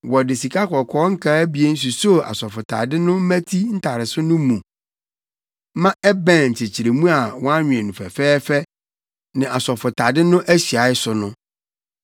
Wɔde sikakɔkɔɔ nkaa abien susoo asɔfotade no mmati ntareso no mu ma ɛbɛn nkyekyeremu a wɔanwen no fɛfɛɛfɛ ne asɔfotade no ahyiae so no.